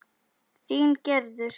Þín Gerður.